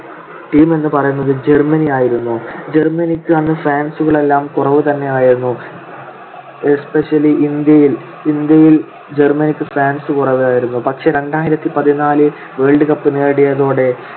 team എന്ന് പറയുന്നത് ജർമ്മനിയായിരുന്നു. ജർമനിക്ക് അന്ന് fans കളെല്ലാം കുറവുതന്നെയായിരുന്നു especially ഇന്ത്യയിൽ. ഇന്ത്യയിൽ ജർമനിക്ക് fans കുറവായിരുന്നു. പക്ഷെ രണ്ടായിരത്തിപതിനാല് world cup നേടിയതോടെ